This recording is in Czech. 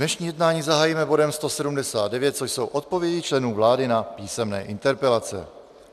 Dnešní jednání zahájíme bodem 179, což jsou odpovědi členů vlády na písemné interpelace.